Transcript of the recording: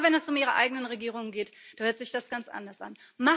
Immer wenn es um Ihre eigenen Regierungen geht, da hört sich das ganz anders an.